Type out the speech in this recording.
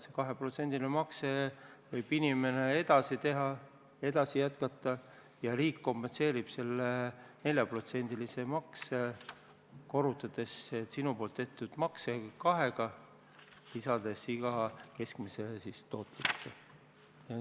Seda 2%-list makset võib inimene edasi teha ja riik kompenseerib selle 4%-lise makse, korrutades inimese tehtud makse kahega ja lisades keskmise tootluse ...